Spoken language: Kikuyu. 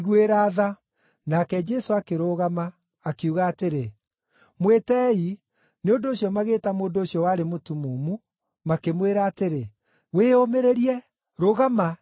Nake Jesũ akĩrũgama, akiuga atĩrĩ, “Mwĩtei.” Nĩ ũndũ ũcio magĩĩta mũndũ ũcio warĩ mũtumumu, makĩmwĩra atĩrĩ, “Wĩyũmĩrĩrie! Rũgama! Nĩaragwĩta.”